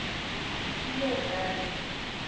bile o ka re ke